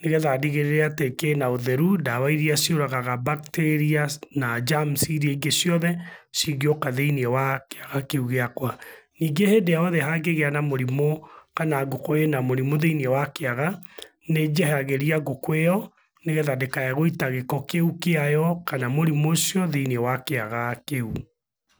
nĩgetha ndigĩrĩre atĩ kĩna ũtheru, ndawa irĩa ciũragaga bacteria na germs irĩa ciothe cingĩoka thĩiniĩ wa kĩaga kĩu gĩakwa. Ningĩ hĩndĩ o yothe hangĩgĩa na mũrimũ kana ngũkũ ĩ na mũrimũ thĩiniĩ wa kĩaga, nĩ njehagĩria ngũkũ ĩ yo nĩgetha ndĩkae gũita gĩko kĩu kĩayo kana mũrimũ ũcio thĩiniĩ wa kĩaga kĩu.